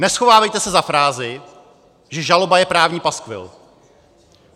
Neschovávejte se za frázi, že žaloba je právní paskvil!